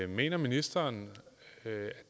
mener ministeren at